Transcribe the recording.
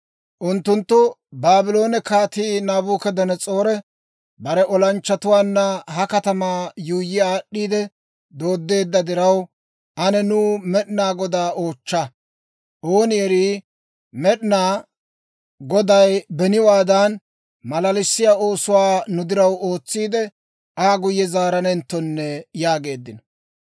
Unttunttu, «Baabloone Kaatii Naabukadanas'oori bare olanchchatuwaanna ha katamaa yuuyyi aad'd'iide dooddeedda diraw, ane nuw Med'inaa Godaa oochcha. Ooni erii, Med'inaa Goday beniwaadan, malalissiyaa oosuwaa nu diraw ootsiide, Aa guyye zaaranenttonne» yaageeddino.